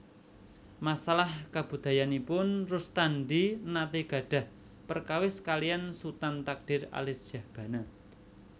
Masalah kabudayanipun Rustandi naté gadhah perkawis kaliyan Sutan Takdir Alisjahbana